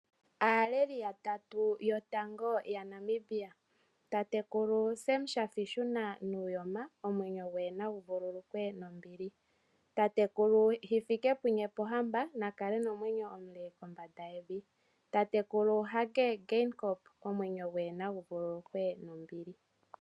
Aaleli yatatu yotango yaNamibia. Tatekulu Sam Shafiishuna Nuuyoma, tatekulu Hifikepunye Pohamba natatekulu Hage Geingob naya vululukwe nombili.